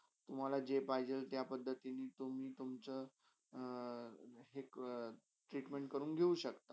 मला जे पाहिजे ते तिनी तुम्ही तुमी तुम्चा आहे treatment कडून घेव शक्ता.